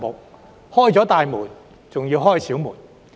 "打開了大門，還要打開小門"。